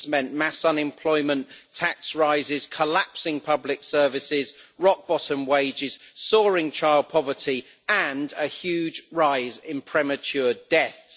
It has meant mass unemployment, tax rises, collapsing public services, rock bottom wages, soaring child poverty and a huge rise in premature deaths.